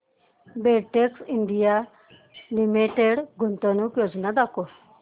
Betex India limited गुंतवणूक योजना दाखव